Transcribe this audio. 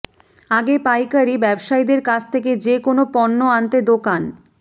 আগে পাইকারি ব্যবসায়ীদের কাছ থেকে যে কোনো পণ্য আনতে দোকান